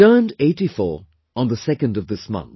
He turned 84 on the 2nd of this month